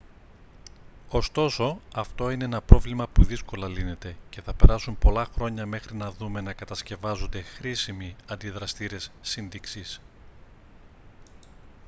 ωστόσο αυτό είναι ένα πρόβλημα που δύσκολα λύνεται και θα περάσουν πολλά χρόνια μέχρι να δούμε να κατασκευάζονται χρήσιμοι αντιδραστήρες σύντηξης